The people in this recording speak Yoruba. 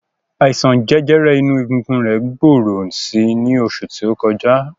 Àìsàn jẹjẹrẹ inú egungun rẹ̀ gbòòrò si ní oṣù tó kọjá.